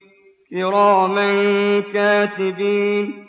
كِرَامًا كَاتِبِينَ